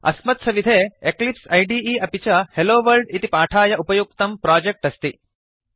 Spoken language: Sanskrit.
अस्मत्सविधे एक्लिप्स इदे अपि च हेलोवर्ल्ड इति पाठाय उपयुक्तं प्रोजेक्ट् अस्ति